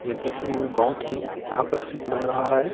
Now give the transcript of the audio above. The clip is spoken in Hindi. ये देखने में बहुत ही आकर्षित लग रहा है।